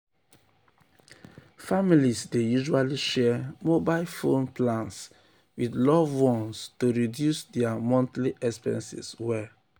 families dey usually share mobile phone plans with loved ones um to reduce dia montly expenses well.